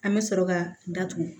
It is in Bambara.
An bɛ sɔrɔ ka datugu